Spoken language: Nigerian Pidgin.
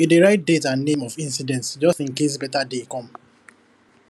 e dey write date and name of incident just in case better day come